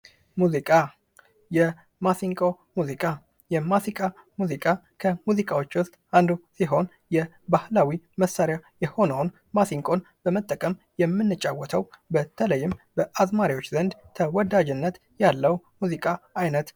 ሙዚቃ የማሲንቆ ሙዚቃ ሙዚቃዎች ሲሆን የባህላዊ መሳሪያ የሆነውን ማሲንቆን በመጠቀም የምንጫወተው በተለይም በአዝማሪዎች ዘንድ ተወዳጅነት ያለው ሙዚቃ አይነት ::